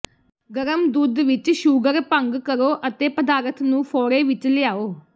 ਗਰਮ ਦੁੱਧ ਵਿਚ ਸ਼ੂਗਰ ਭੰਗ ਕਰੋ ਅਤੇ ਪਦਾਰਥ ਨੂੰ ਫ਼ੋੜੇ ਵਿਚ ਲਿਆਓ